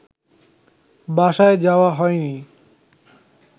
বাসায় যাওয়া হয়নি